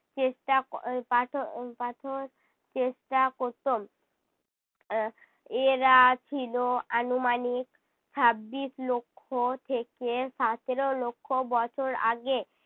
চেষ্টা ক~ উহ পাথ~ উহ পাথর চেষ্টা করতো। আহ এরা ছিল আনুমানিক ছাব্বিশ লক্ষ থেকে সাতেরো লক্ষ বছর আগে।